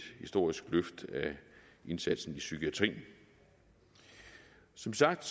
historisk løft af indsatsen i psykiatrien som sagt